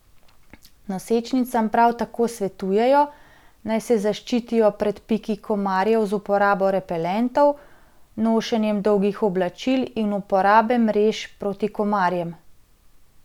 Nosečnicam prav tako svetujejo, naj se zaščitijo pred piki komarjev z uporabo repelentov, nošenjem dolgih oblačil in uporabe mrež proti komarjem.